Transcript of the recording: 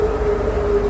Həyyə ələl-fəlah.